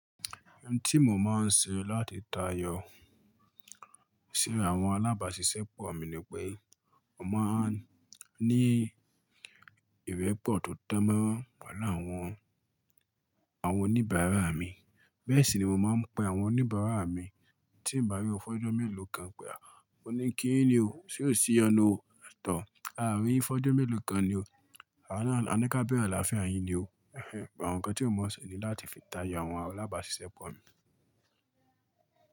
Ohun tí mo máa ń ṣe láti tayọ síra àwọn alábàáṣiṣẹ́ pọ̀ mi ni pé mo máa ń ní ìrẹ̀pọ̀ tó dánmọ́rán pẹ̀lú àwọn, àwọn oníbàárà mi. Bẹ́ẹ̀ sì ni mo máa ń pe àwọn oníbàárà mi tí nbàrí wọ́n fọ́jùn mélòó kan pé à, mo ní kí yín ni o, ṣé o ṣí ìyọnu o? Ẹ tọ̀, a rí yín fọ́jọ́ mélòó kan ni o. A ná, a ní ká bèèrè alááfía yin ni o. Àwọn nǹkan tí mo mọ̀ ṣe ni láti fi tayọ àwọn alábàáṣiṣẹ́ pọ̀ mi.